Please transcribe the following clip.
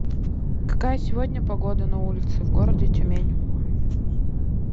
какая сегодня погода на улице в городе тюмень